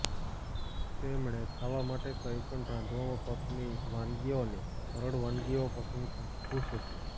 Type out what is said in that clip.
તેમણે ખાવા માટે કંઈપણ રાંધવામાં પત્ની વાનગીઓની સરળ વાનગીઓ પસંદ ખુશ હતી